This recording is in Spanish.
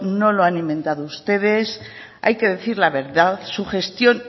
no lo han inventado ustedes hay que decir la verdad su gestión